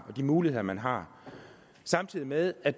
og de muligheder man har samtidig med at